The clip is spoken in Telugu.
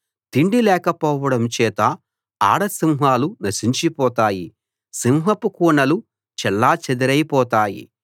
తిండి లేకపోవడం చేత ఆడ సింహాలు నశించిపోతాయి సింహపు కూనలు చెల్లాచెదరైపోతాయి